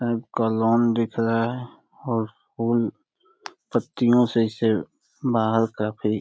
का लॉन दिख रहा है और फूल पत्तियों से इसे बाहर काफी --